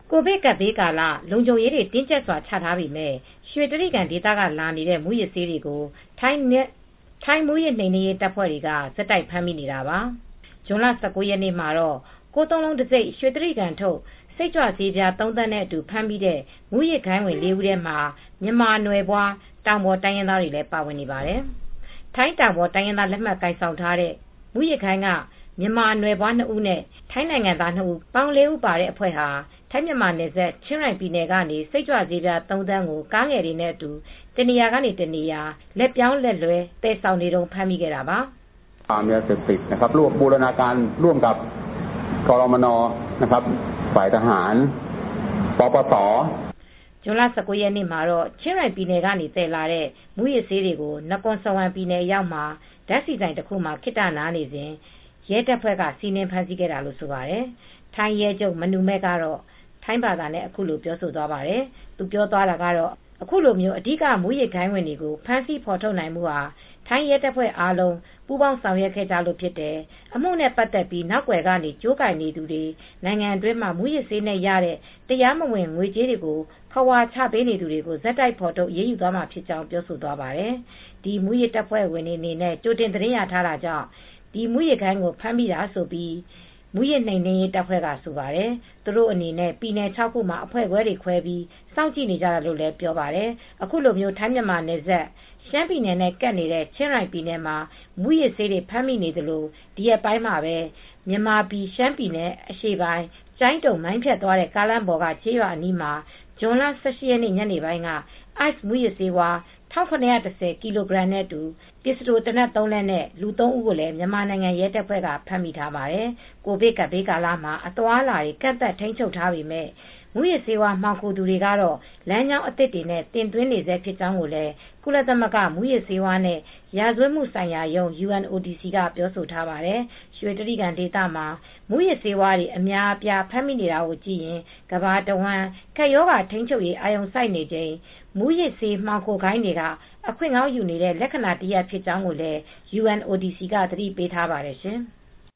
ကိုဗစ်ကပ်ဘေးကာလလုံခြုံရေးတွေတင်းကြပ်စွာချထားပေမယ့် ရွှေတြိဂံဒေသကလာနေတဲ့မူးယစ်ဆေးတွေကို ထိုင်းမူးယစ် နှိမ်နင်းရေးတပ်ဖွဲ့က ဆက်တိုက်ဖမ်းမိနေတာပါ။ ဇွန်လ ၁၉ ရက်နေ့ကတော့ ၉၉၉ တံဆိပ် ရွှေတြိဂံ ထုတ် စိတ်ကြွဆေး ပြားသုံးသန်း နဲ့အတူ ဖမ်းမိတဲ့ မူးယစ်ဂိုဏ်းဝင် ၄ဦးထဲမှာ မြန်မာပြည်သားတွေ ပါဝင်နေပါတယ်။ ထိုင်းတောင်ပေါ် တိုင်းရင်းသား လက်မှတ် ကိုင် ဆောင်ထားကြတဲ့ မူးယစ်ဂိုဏ်းက မြန်မာနိုင်ငံသား နှစ်ဦး နဲ့ ထိုင်းနိုင်ငံသား နှစ်ဦး ပေါင်း ၄ဦးပါတဲ့အဖွဲ့ဟာ ဝင်တွေဟာ ထိုင်းမြန်မာနယ်စပ် ချင်ရိုင်ပြည်နယ်ကနေစိတ်ကြွဆေးပြား၃သန်း ကားငယ်တွေနဲ့ အတူ တနေရာကတနေရာ ကားတွေနဲ့ လက်ပြောင်းလက်လွဲ သယ်ဆောင်နေတုန်းဖမ်းမိတာပါ။ ဇွန်လ ၁၉ ရက်နေ့မှာ တော့ ချင်းရိုင်ပြည်နယ်ကနေ သယ်လာတဲ့ မူးယစ်ဆေးတွေကို နကော်စဝမ် ပြည်နယ်အရောက်မှာ ဓါတ်ဆီဆိုင်မှာ ခဏနားနေစဉ် ရဲတပ်ဖွဲ့က စီးနင်း ဖမ်းဆီးခဲ့တာလို့ဆိုပါတယ် ထိုင်းရဲချုပ် မနူမဲ့ ကတော့ထိုင်းဘာသာနဲ့အခုလိုပြောသွားပါတယ်။ သူပြောသွားတာကတော့ အခုလို အဓိက မူးယစ်ဂိုဏ်းဝင်တွေကို ဖမ်းဆီးဖေါ်ထုတ်နိုင်မှူဟာ ထိုင်းရဲတပ်ဖွဲ့အားလုံးပူးပေါင်းဆောင်ရွက်ခဲ့ကြတာဖြစ်တယ်။ အမှုနဲ့ ပါတ်သက်ပြီး နောက်ကွယ်ကနေ ကြိုးကိုင်နေသူတွေ နိုင်ငံတွင်းမှာ မူးယစ်ဆေးနဲ့ရတဲ့တရားမဝင် ငွေကြေးတွေကိုခဝါချပေးနေသူတွေကို ဆက်တိုက်ဖေါ်ထုတ်အရေးမှာဖြစ်ကြောင်းပြောဆိုသွားပါတယ်။ မူးယစ်တပ်ဖွဲ့ ဝင်တွေအနေနဲ့ ကြိုတင်သတင်းရရှိထားတာကြောင့် ဒီမူးယစ်ဂိုဏ်းကိုဖမ်းမိတာလို့ မူးယစ်နှိမ်နင်းရေးတပ်ဖွဲကဆိုပါတယ်။ သူတို့အနေနဲ့ ပြည်နယ်ခြောက်ခုမှာ အဖွဲ့တွေခွဲပြီး စောင့်ကြည့်နေကြတာလို့လည်းပြောပါတယ်။ အခုလို ထိုင်းမြန်မာနယ်စပ် ရှမ်းပြည်နယ်နဲ့ကပ်နေတဲ့ချင်းရိုင်ပြည်နယ်မှာ မူးယစ်ဆေးတွေဖမ်းမိသလို ဒီရက်ပိုင်းမှာပဲ မြန်မာပြည်ရှမ်းပြည်နယ် အရှေ့ပိုင်း ကျိုင်းတုံ - မိုင်းဖြတ်သွား တဲ့ ကားလမ်းပေါ်က ကျေးရွာအနီးမှာ ဇွန်လ ၁၈ ရက် ညနေပိုင်းက (ICE) မူးယစ်ဆေးဝါး ၁၇၁၀ ကီလိုဂရမ်ခန့် နဲ့ ပစ္စတိုသေနတ် ၃ လက်နဲ့အတူ လူ ၃ ဦး ကိုမြန်မာနိုင်ငံရဲတပ်ဖွဲ့ကလည်းဖမ်းမိထားပါတယ်။ ကိုဗစ်ကပ်ဘေးကာလမှာ အသွားအလာတွေ ကန့်သတ်ထိန်းချုပ်ထားပေမဲ့ မူးယစ်ဆေးဝါး မှောင်ခိုသူတွေကတော့ လမ်းကြောင်းသစ်တွေနဲ့ တင်သွင်းနေဆဲဖြစ်ကြောင်းလည်း ကုလသမဂ္ဂ မူးယစ်ဆေးဝါးနဲ့ ရာဇဝတ်မှုဆိုင်ရာရုံး (UNODC) က ပြောဆိုထားပါတယ် ရွှေတြိဂံဒေသမှာ မူးယစ်ဆေးတွေ အများအပြား ဖမ်းဆီးမိနေတာကိုကြည့်ရင် ကမ္ဘာတဝှမ်း ကပ်ရောဂါထိန်းချုပ်ရေး အာရုံစိုက်နေချိန် မူးယစ်ဆေးမှောင်ခိုဂိုဏ်းတွေက အခွင့်ကောင်းယူနေတဲ့ လက္ခဏာတရပ် ဖြစ်ကြောင်းလည်း UNODC က သတိပေးထားပါတယ်ရှင်။